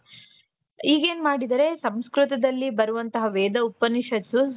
ಈಗೇನ್ ಮಾಡಿದ್ದಾರೆ ಸಂಸ್ಕೃತದಲ್ಲಿ ಬರುವಂತಹ ವೇದ ಉಪನಿಷತ್ತು